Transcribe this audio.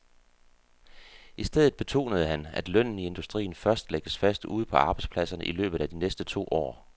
I stedet betonede han, at lønnen i industrien først lægges fast ude på arbejdspladserne i løbet af de næste to år.